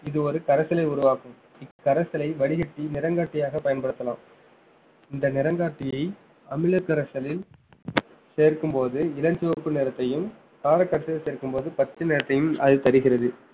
இது ஒரு கரைசலை உருவாக்கும் இக்கரைசலை வடிகட்டி நிறங்காட்டியாகப் பயன்படுத்தலாம் இந்த நிறங்காட்டியை அமிலக்கரைசலில் சேர்க்கும் போது இளஞ்சிவப்பு நிறத்தையும் காரக் கரைசலில் சேர்க்கும் போது பச்சை நிறத்தையும் அது தருகிறது